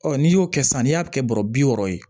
Ɔ n'i y'o kɛ sisan n'i y'a kɛ bɔrɔ bi wɔɔrɔ ye